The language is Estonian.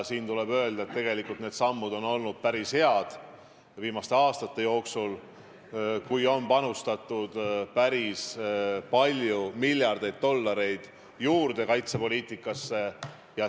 Tuleb öelda, et need sammud viimaste aastate jooksul on olnud päris head, kui kaitsepoliitikasse on panustatud päris palju miljardeid dollareid juurde.